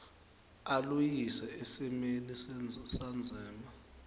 aluyise esimeni sendzima